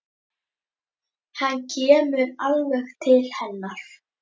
Hann kemur alveg til hennar.